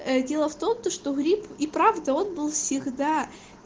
дело в том что грипп и правда он был всегда